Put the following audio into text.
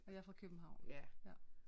Og jeg er fra København